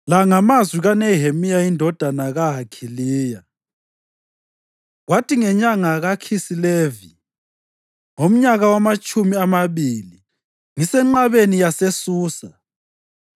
La ngamazwi kaNehemiya indodana kaHakhaliya: Kwathi ngenyanga kaKhisilevi ngomnyaka wamatshumi amabili, ngisenqabeni yaseSusa,